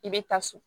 I bɛ taa so